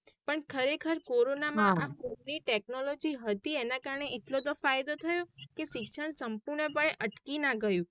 પણ ખરે ખાર કોરોના માં આ phone ની technology હતી એના કારણે એટલો તો ફાયદો થયો કે શિક્ષણ સંપૂર્ણં પણ અટકી ના ગયું.